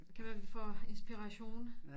Det kan være vi får inspiration